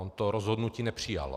On to rozhodnutí nepřijal.